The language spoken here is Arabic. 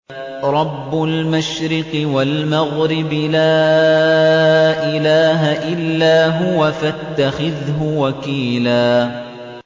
رَّبُّ الْمَشْرِقِ وَالْمَغْرِبِ لَا إِلَٰهَ إِلَّا هُوَ فَاتَّخِذْهُ وَكِيلًا